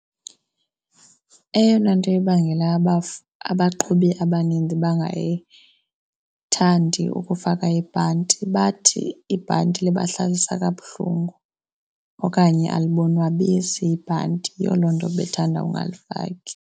Eyona nto ibangela abaqhubi abanintsi bangayithandi ukufaka ibhanti bathi ibhanti libahlalisa kabuhlungu okanye alibonwabisi ibhanti. Yiyo loo nto bethanda ungalifaki.